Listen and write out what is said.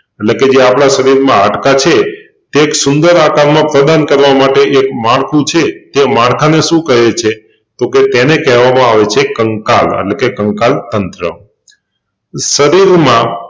એટલેકે જે આપના શરીરમાં હાડકાં છે તે એક સુંદર આકારમાં પ્રેજન્ટ કરવા માટે એક માળખું છે તે માળખાને શું કહે છે? તોકે તેને કેહવામાં આવે છે કંકાલ અને તે કંકાલતંત્ર શરીરમાં